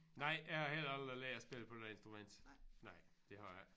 Nej jeg har heller aldrig lært at spille på noget instrument. Nej det har jeg ikke